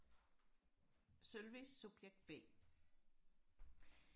Sølve subjekt b